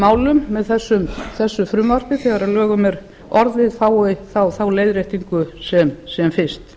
málum með þessu frumvarpi þegar að lögum er orðið fái þá leiðréttingu sem fyrst